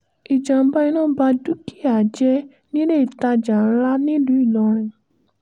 ìjàm̀bá iná ba dúkìá jẹ́ nílé ìtajà ńlá nílùú ìlọrin